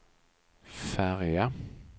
färja